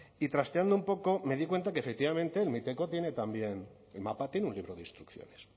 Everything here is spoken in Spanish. y trasteando un poco me doy cuenta que efectivamente el miteco tiene también el mapa tiene un libro de instrucciones